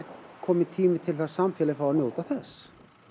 kominn tími til að samfélagið fái að njóta þess